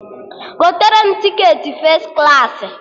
Gotere m tiketi fes klaasị!